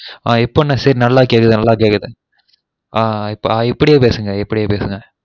ஆஹ் இப்ப massage நல்லா கேக்குது நல்லா கேக்குது ஆஹ் இப்படியே பேசுங்க இப்படியே பேசுங்க